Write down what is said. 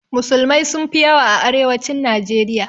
Musulmai sun fi yawa a arewacin najeriya